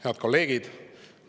Head kolleegid!